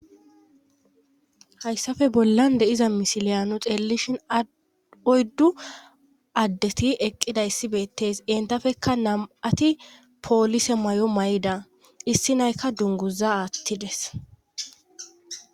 hayssafe bollan de7iza misiliyaano xeelelishin oyddu addeti eqqida issi beettes entafekka nam7ati poolise may7o may7ida issi naykka dunguza aattides